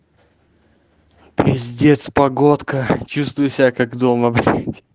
пиздец погодка чувствую себя как дома блять